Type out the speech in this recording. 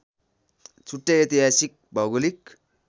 छुट्टै ऐतिहासिक भौगोलिक